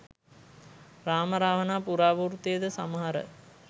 රාම රාවණා පුරාවෘත්තයද සමහර